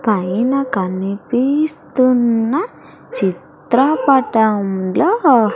పైన కనిపిస్తున్న చిత్రపటంలో ఒ.